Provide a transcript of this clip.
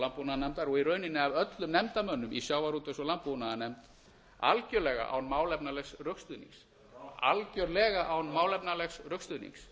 landbúnaðarnefndar og í rauninni af öllum nefndarmönnum í sjávarútvegs og landbúnaðarnefnd algjörlega án málefnalegs rökstuðnings algjörlega án alls rökstuðnings